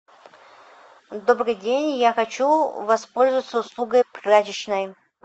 добрый день я хочу воспользоваться услугой прачечной